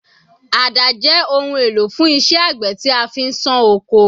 Àdá jẹ́ ohun èlò fún iṣẹ́ àgbẹ̀ tí a fi ń ṣán oko.